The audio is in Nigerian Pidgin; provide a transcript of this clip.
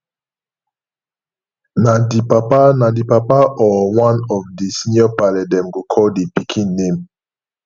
na di papa na di papa or one of di senior parle dem go call di pikin name